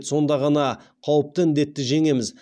сонда ғана қауіпті індетті жеңеміз